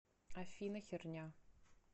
афина херня